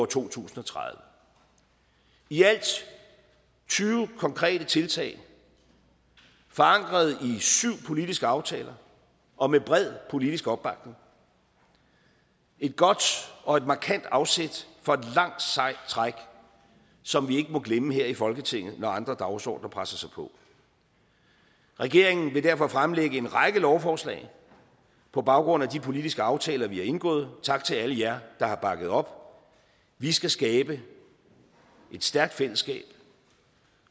to tusind og tredive i alt tyve konkrete tiltag forankret i syv politiske aftaler og med bred politisk opbakning et godt og et markant afsæt for et langt sejt træk som vi ikke må glemme her i folketinget når andre dagsordener presser sig på regeringen vil derfor fremlægge en række lovforslag på baggrund af de politiske aftaler vi har indgået tak til alle jer der har bakket op vi skal skabe et stærkt fællesskab